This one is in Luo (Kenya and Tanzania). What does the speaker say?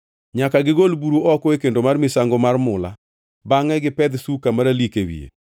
“Nyaka gigol buru oko e kendo mar misango mar mula bangʼe gipedh suka maralik e wiye.